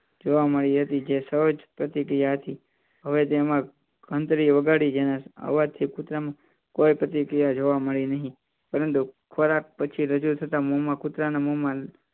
જોવા મળી હતી જે સહજ પ્રતિક્રિયા હતી હવે તેમાં વગાડી જેને આવવાથી કુતરામાં કોઈ પતી ગયા જોવા મળી નહીં પરંતુ ખોરાક પછી રજૂ થતાં